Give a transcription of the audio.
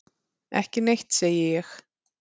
Ekki neitt, segi ég.